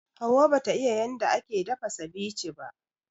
Hauwa bata iƴa yanda ake dafa ceviche ba.